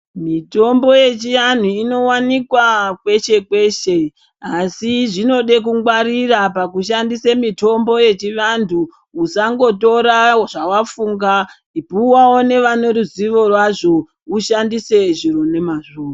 Mitombo yechiantu inowanikwa kweshe-kweshe, asi zvinode kungwarira pakushandisa mitombo yechivantu, usangotora zvawafunga puwawo nevane ruzivo rwazvo, ushandise zviro nomazvo.